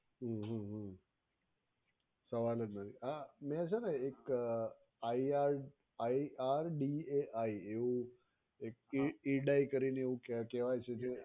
હમ્મ હમ્મ હમ્મ સવાલ જ નથી આ મે છે ને એક IRDAI એક એડાય કરીને એવું કેહવાય છે કે